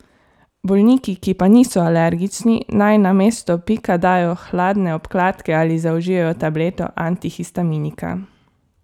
Bolniki, ki pa niso alergični, naj na mesto pika dajo hladne obkladke ali zaužijejo tableto antihistaminika.